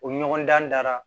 O ɲɔgɔndan dara